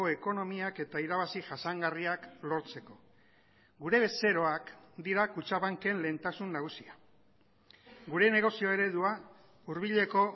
ekonomiak eta irabazi jasangarriak lortzeko gure bezeroak dira kutxabanken lehentasun nagusia gure negozio eredua hurbileko